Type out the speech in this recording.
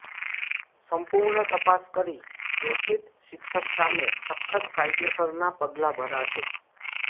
સંપૂર્ણ તપાસ કરી દોષિત શિક્ષક સામે સખત કાયદેસરનાં પગલાં ભરાશે